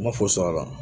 Ma fo sɔr'a la